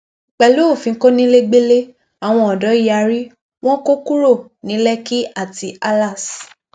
pẹlú òfin kọnilẹgbẹlẹ àwọn ọdọ yarí wọn kò kúrò ní lẹkì àti aláàs